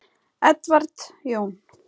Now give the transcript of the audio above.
Edward Jón.